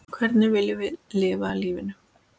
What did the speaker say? Hvernig viljum við lifa lífinu?